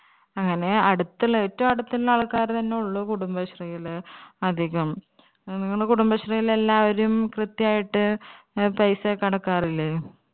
അങ്ങനെ അടുത്തിള്ള ഏറ്റവും അടുത്തുള്ള ആൾക്കാർ തന്നെ ഉള്ളു കുടുംബശ്രീയില് അധികം നിങ്ങളെ കുടുംബശ്രീയില് എല്ലാവരും കൃത്യായിട്ട് paisa യൊക്കെ അടക്കാറില്ലേ